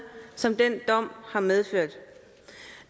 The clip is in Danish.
som den dom har medført